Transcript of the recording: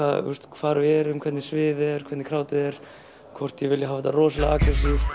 hvar við erum og hvernig sviðið er hvernig krádið er hvort ég vilji hafa þetta rosalega agressíft